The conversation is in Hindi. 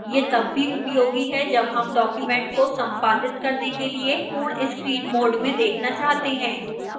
यह तब भी उपयोगी है जब हम document को संपादित करने के लिए पूर्ण screen mode में देखना चाहते हैं